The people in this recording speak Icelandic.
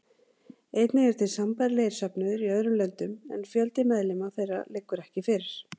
Einnig eru til sambærilegir söfnuðir í öðrum löndum en fjöldi meðlima þeirra liggur ekki fyrir.